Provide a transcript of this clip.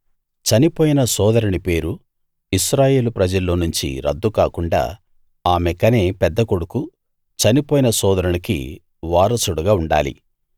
చనిపోయిన సోదరుని పేరు ఇశ్రాయేలు ప్రజల్లో నుంచి రద్దు కాకుండా ఆమె కనే పెద్దకొడుకు చనిపోయిన సోదరునికి వారసుడుగా ఉండాలి